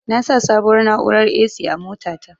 Na sa sabuwar na'urar "A.C" a mota ta